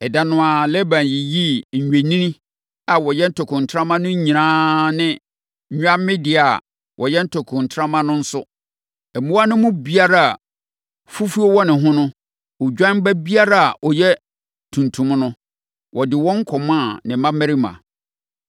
Ɛda no ara, Laban yiyii nnwennini a wɔyɛ ntokontrama no nyinaa ne nnwammedeɛ a wɔyɛ ntokontrama no nso; mmoa no mu biara a fufuo wɔ ne ho ne odwan ba biara a ɔyɛ tuntum no, ɔde wɔn kɔmaa ne mmammarima.